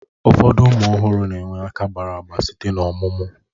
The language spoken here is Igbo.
Ụfọdụ ụmụ ọhụrụ na-enwe aka gbara agba site n'ọmụmụ